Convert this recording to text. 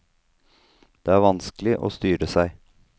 Det er vanskelig å styre seg.